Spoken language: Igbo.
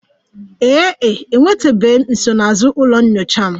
Ee e, enwetabeghị m nsonaazụ ụlọ nyocha m